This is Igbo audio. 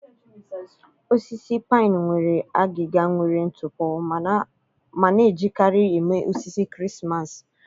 Osisi pine nwere agịga nwere ntụpọ ma na-ejikarị eme osisi Krismas.